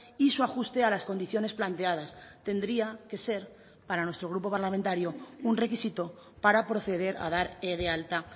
y su ajuste a las condiciones planteadas tendría que ser para nuestro grupo parlamentario un requisito para proceder a dar de alta